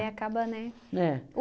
aí acaba, né? É.